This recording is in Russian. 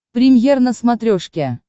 премьер на смотрешке